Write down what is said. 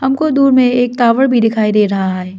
हमको दूर में एक टावर भी दिखाई दे रहा है।